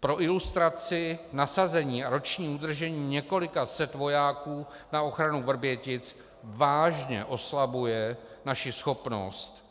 Pro ilustraci: Nasazení a roční udržení několika set vojáků na ochranu Vrbětic vážně oslabuje naši schopnost